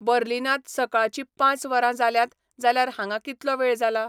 बर्लीनांत सकाळचीं पांच वरां जाल्यांत जाल्यार हांगां कितलो वेळ जाला